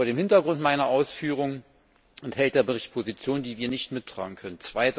Vor dem Hintergrund meiner Ausführungen enthält der Bericht Positionen, die wir nicht mittragen können.